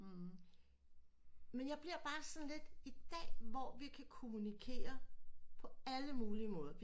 Men jeg bliver bare sådan lidt i dag hvor vi kan kommunikere på alle mulige måder